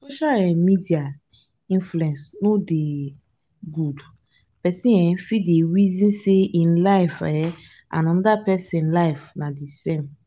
social um media influence no dey good pesin um fit dey resin sey ein life and um anoda pesin life na di same.